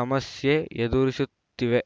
ಸಮಸ್ಯೆ ಎದುರಿಸುತ್ತಿವೆ